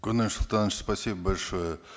куаныш султанович спасибо большое